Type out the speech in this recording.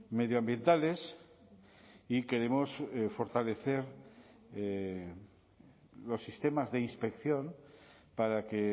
medioambientales y queremos fortalecer los sistemas de inspección para que